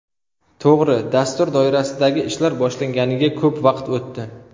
To‘g‘ri, dastur doirasidagi ishlar boshlanganiga ko‘p vaqt o‘tdi.